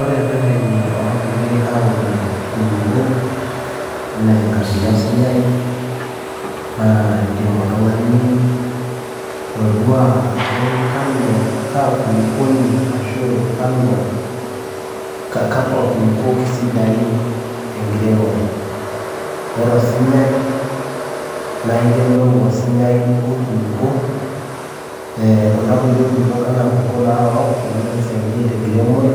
Ore ireteni oopiki aorie inkulukuok, anaa enkabila osinyai, naa indim oltung'ani atodua ajo, kaaa kulukuoni akwa kulukuok sidaintenkiremore. Ore osinyai naa iyiolou osinyai onkulukuok, anaa inkulukuok naarook naisaidia tenkiremore,